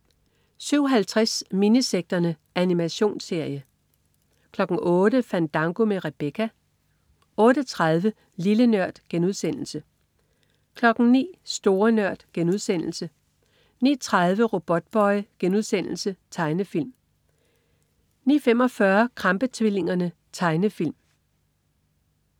07.50 Minisekterne. Animationsserie 08.00 Fandango med Rebecca 08.30 Lille Nørd* 09.00 Store Nørd* 09.30 Robotboy.* Tegnefilm 09.45 Krampe-tvillingerne. Tegnefilm